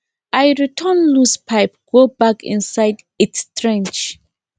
i return loose pipe go back inside its trench